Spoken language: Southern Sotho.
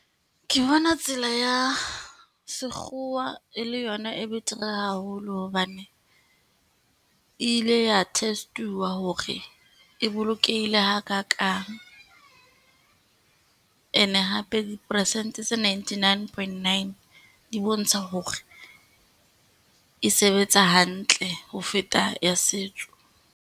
Ke bona tsela ya sekgowa e le yona e betere haholo hobane, e ile ya test-uwa hore e bolokehile ha kakang. And hape dipersente tse ninety nine point nine di bontsha hore, e sebetsa hantle ho feta ya setso.